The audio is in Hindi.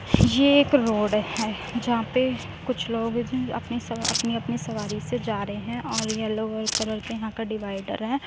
यह एक रोड है जहाँ पे कुछ लोग हैं जो अपने सवार अपनी -अपनी सवारी से जा रहे है और येलो कलर के यहाँ का डिवाइडर है।